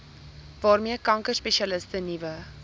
waarmee kankerspesialiste nuwe